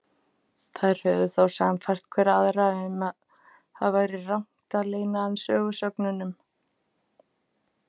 Þær höfðu þá sannfært hver aðra um að það væri rangt að leyna hann sögusögnunum.